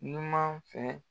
Numan fɛ